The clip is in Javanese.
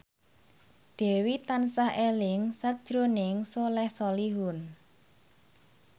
Dewi tansah eling sakjroning Soleh Solihun